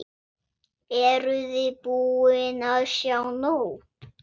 Eruði búin að sjá nóg?